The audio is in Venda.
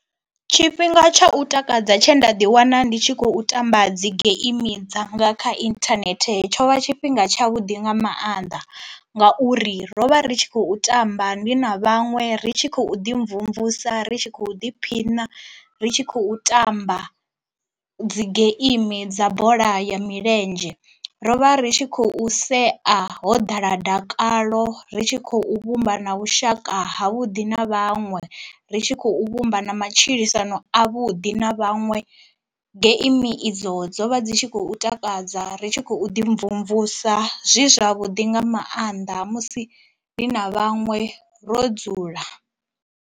Tshifhinga tsha u takadza tshe nda ḓi wana ndi tshi khou tamba dzi geimi dzanga kha inthanethe tsho vha tshifhinga tsha vhuḓi nga maanḓa, ngauri ro vha ri tshi khou tamba ndi na vhaṅwe ri tshi khou ḓi mvumvusa, ri tshi khou ḓiphina ri tshi khou tamba dzi geimi dza bola ya milenzhe, ro vha ri tshi khou sea ho ḓala dakalo ri tshi khou vhumba na vhushaka ha vhuḓi na vhaṅwe, ri tshi khou vhumba na matshilisano a vhuḓi na vhaṅwe. Geimi idzo dzo vha dzi tshi khou takadza ri tshi khou ḓi mvumvusa zwi zwavhuḓi nga maanḓa musi ndi na vhaṅwe ro dzula.